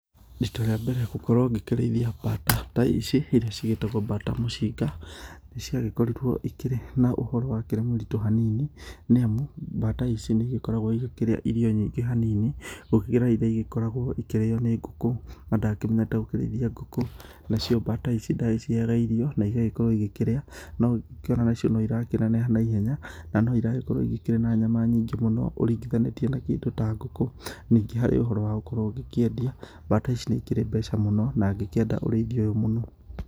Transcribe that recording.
Rita rĩa mbere gũkorwo ngĩkĩreithia bata ta ici, irĩa cigĩtagwo bata mũcinga, nĩciagĩkorirwo ikĩrĩ na ũhoro wakĩrĩ mũritũ hanini, nĩamu bata ici nĩigĩkoragwo igĩkĩrĩa irio nyingĩ hanini ũkĩringithania na iria igĩkoragwo ikĩrĩo nĩ ngũkũ, nacio bata ici nandagĩciheaga irio igagĩkorwo ikĩrĩa nongĩkĩona onacio noirakĩneneha naihena, na noiragĩkorwo ikĩrĩ na nyama nyingĩ mũno ũringithanĩtie na kĩndũ ta ngũkũ, ningĩ harĩ ũhoro wa gũkorwo ũgĩkĩendia, bata ici nĩikĩrĩ mbeca mũno, ngĩkĩenda ũrĩithi ũyũ mũno